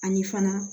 Ani fana